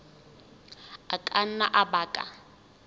a ka nna a baka